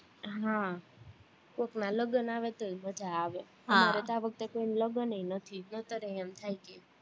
હા કોકના લગન આવે તોય મજા આવે મારે તો આ વખતે કોઈના લગન ય નથી, નહીંતર ય એમ થાય કે